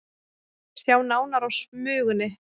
Sjá nánar á Smugunni